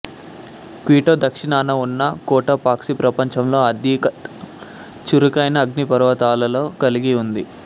Quito దక్షిణాన ఉన్న Cotopaxi ప్రపంచంలో అత్యధిక చురుకైన అగ్నిపర్వతాలను కలిగి ఉంది